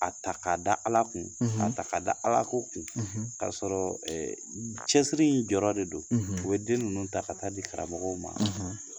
A ta k'a da Ala kun k'a ta k'a da Alako kun k'a sɔrɔ cɛsiri in jɔrɔ de don, u bɛ den ninnu ta ka ta'a di karamɔgɔw ma